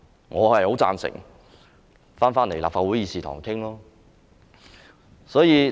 我很贊成返回立法會議事堂討論。